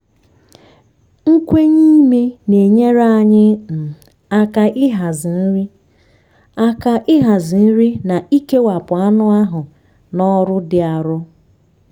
nkwenye ime na-enyere anyị um aka ịhazi nri aka ịhazi nri na ikewapụ anụ ahụ na ọrụ dị arọ.